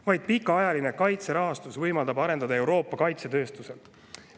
Vaid pikaajaline kaitserahastus võimaldab Euroopa kaitsetööstust.